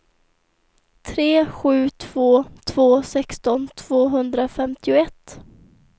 tre sju två två sexton tvåhundrafemtioett